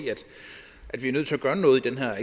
at vi er nødt til at gøre noget i den her